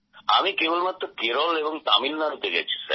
আমি কেবলমাত্র কেরল এবং তামিলনাড়ুতে গেছি